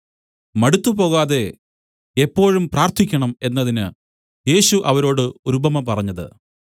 മടുത്തുപോകാതെ എപ്പോഴും പ്രാർത്ഥിക്കണം എന്നതിന് യേശു അവരോട് ഒരു ഉപമ പറഞ്ഞത്